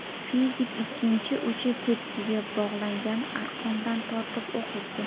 Fizik ikkinchi uchi tepkiga bog‘langan arqondan tortib, o‘q uzdi.